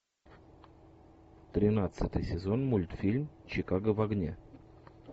тринадцатый сезон мультфильм чикаго в огне